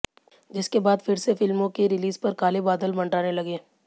जिसके बाद फिर से फिल्मों की रिलीज पर काले बादल मंडराने लगे